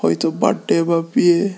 এ তো বার্থডে বা বিয়ে।